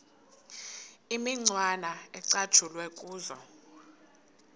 imicwana ecatshulwe kuzo